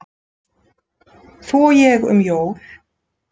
Þú og ég um jól